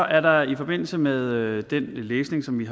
er der i forbindelse med den læsning som vi